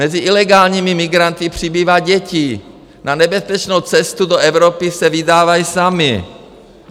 Mezi ilegálními migranty přibývá dětí, na nebezpečnou cestu do Evropy se vydávají samy.